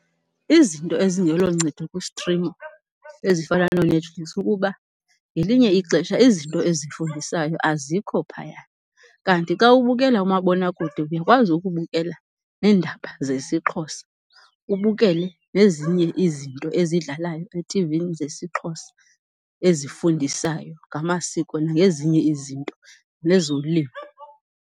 Izinto ezingeloncedo kustrim ezifana nooNetflix kukuba ngelinye ixesha izinto ezifundisayo azikho phaya. Kanti xa ubukela umabonakude uyakwazi ukubukela neendaba zesiXhosa, ubukele nezinye izinto ezidlalayo etivini zesiXhosa ezifundisayo ngamasiko nangezinye izinto, nezolimo.